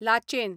Lachen